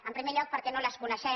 en primer lloc perquè no les coneixem